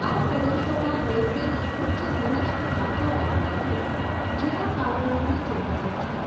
આ પ્રદેશોમાં રેલ્વેની ઉચ્ચ ઘનિષ્ઠતા જેાવા મળે છે જેના કારણો નીચે મુજબ છે.